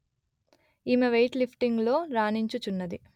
ఈమె వెయిట్ లిఫ్టింగులో రాణించుచున్నది